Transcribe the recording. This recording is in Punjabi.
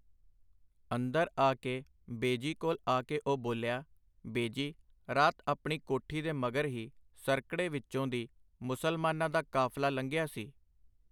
ਅੰਦਰ ਆ ਕੇ ਬੇਜੀ ਕੋਲ ਆ ਕੇ ਉਹ ਬੋਲਿਆ, ਬੇਜੀ, ਰਾਤ ਆਪਣੀ ਕੋਠੀ ਦੇ ਮਗਰ ਹੀ ਸਰਕੜੇ ਵਿੱਚੋਂ ਦੀ ਮੁਸਲਮਾਨਾਂ ਦਾ ਕਾਫ਼ਲਾ ਲੰਘਿਆ ਸੀ.